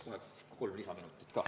Palun kohe kolm lisaminutit ka.